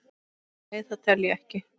Nei, það tel ég ekki.